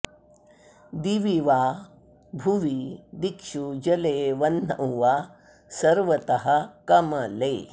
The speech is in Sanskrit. दिवि वा भुवि दिक्षु जले वह्नौ वा सर्वतः कमले